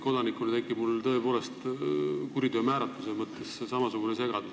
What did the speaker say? Kodanikuna tekib mul tõepoolest kuriteo määratluse osas segadus.